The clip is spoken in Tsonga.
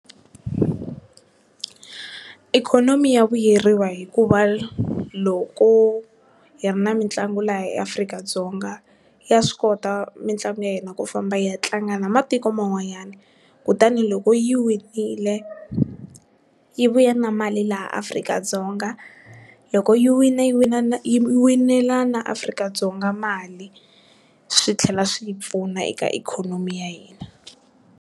Ikhonomi ya vuyeriwa hikuva loko hi ri na mitlangu laha eAfrika-Dzonga ya swi kota mitlangu ya hina ku famba yi ya tlanga na matiko man'wanyana, kutani loko yi wile yi vuya na mali laha Afrika-Dzonga loko yi wina yi wina na winela na Afrika-Dzonga mali swi tlhela swi hi pfuna eka ikhonomi ya hina.